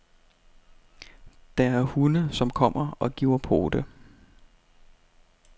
Der er hunde, som kommer og giver pote.